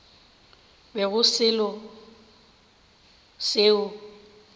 be go se selo seo